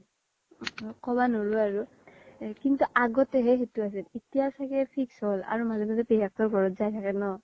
কবা নৰু আৰু কিন্তু আগ্তে হে সেইতো আছিল এতিয়া চাগে fix হ্'ল আৰু মাজে মাজে পেহিয়াক তোৰ ঘৰত যাই থাকে ন